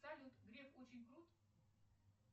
салют греф очень крут